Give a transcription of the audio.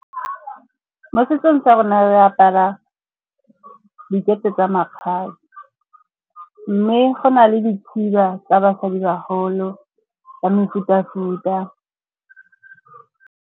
Mo setsong sa rona re apara dikete tsa makgabe. Mme go na le dikhiba tsa basadibagolo ka mefuta-futa.